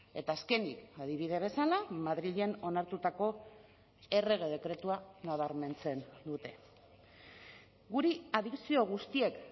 eta azkenik adibide bezala madrilen onartutako errege dekretua nabarmentzen dute guri adikzio guztiek